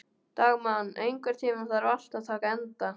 Dagmann, einhvern tímann þarf allt að taka enda.